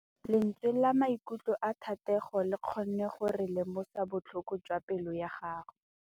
Lentswe la maikutlo a Thategô le kgonne gore re lemosa botlhoko jwa pelô ya gagwe.